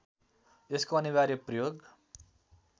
यसको अनिवार्य प्रयोग